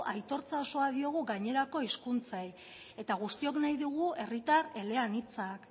aitortza osoa diogu gainerako hizkuntzei eta guztiok nahi dugu herritar eleanitzak